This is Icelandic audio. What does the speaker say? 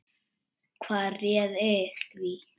Hvað réði því?